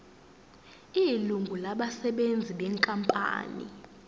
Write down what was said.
ilungu labasebenzi benkampani